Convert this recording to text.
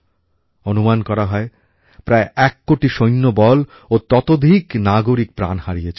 অনুমান করা হয় প্রায় এক কোটি সৈন্যবল ও ততোধিক নাগরিক প্রাণ হারিয়েছিলেন